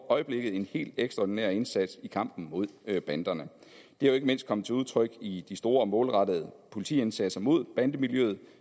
i øjeblikket en helt ekstraordinær indsats i kampen mod banderne det er jo ikke mindst kommet til udtryk i de store og målrettede politiindsatser mod bandemiljøet